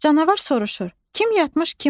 Canavar soruşur: Kim yatmış, kim oyaq?